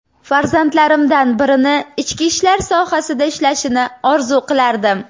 Farzandlarimdan birini ichki ishlar sohasida ishlashini orzu qilardim.